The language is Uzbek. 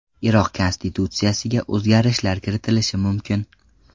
Iroq konstitutsiyasiga o‘zgartirishlar kiritilishi mumkin.